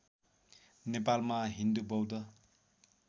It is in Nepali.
नेपालमा हिन्दू बौद्ध